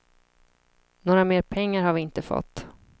Några mer pengar har vi inte fått.